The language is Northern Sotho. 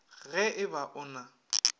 ge e ba o na